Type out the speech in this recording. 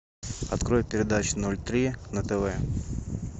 открой передачу ноль три на тв